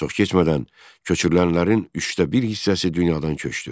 Çox keçmədən köçürülənlərin üçdə bir hissəsi dünyadan köçdü.